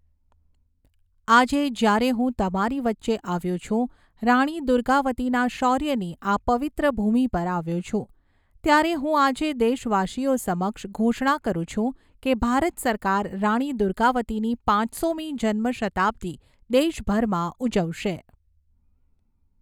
આજે, જ્યારે હું તમારી વચ્ચે આવ્યો છું, રાણી દુર્ગાવતીના શૌર્યની આ પવિત્ર ભૂમિ પર આવ્યો છું, ત્યારે હું આજે દેશવાસીઓ સમક્ષ ઘોષણા કરું છું કે ભારત સરકાર રાણી દુર્ગાવતીની પાંચસોમી જન્મશતાબ્દી દેશભરમાં ઉજવશે.